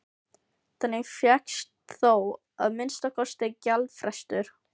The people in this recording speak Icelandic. Þannig fékkst þó að minnsta kosti gjaldfrestur.